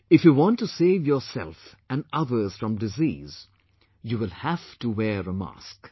If you want to save yourself and others from disease, you will have to wear a mask